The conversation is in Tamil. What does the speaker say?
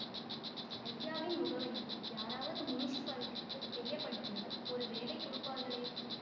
அய்யாவின் முகவரியை யாராவது முனிசிபாலிடிக்குத் தெரியப்படுத்தினால் ஒரு வேலை கொடுப்பார்களே